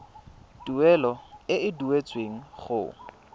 tuelo e e duetsweng go